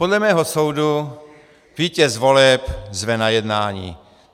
Podle mého soudu vítěz voleb zve na jednání.